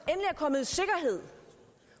er kommet i sikkerhed